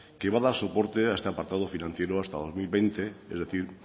que va a dar soporte a este apartado financiero hasta el dos mil veinte es decir